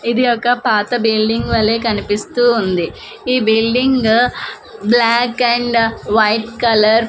ఇది ఒక పాత బిల్డింగ్ వాలే కనిపిస్తూ ఉంది ఈ building black and white colour .